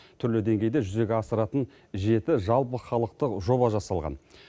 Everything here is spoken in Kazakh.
түрлі деңгейде жүзеге асыратын жеті жалпыхалықтық жоба жасалған